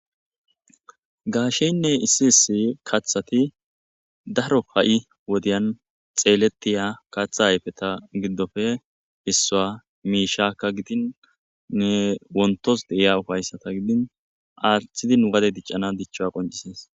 gaasheynne issi issi kaththati daro ha7i wodiyan xeelettiya katha hayfeta giddofe issua miishaka gidin ne wontos deiya ufayssata gidin aathidin wade diccana dichcha qoncisees